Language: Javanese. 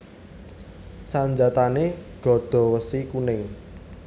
Sanjatané Gada Wesi Kuning